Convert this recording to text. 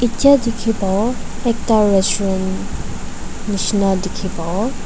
Jeya tekhe pabo ekta restuarant neshna dekhe pabo.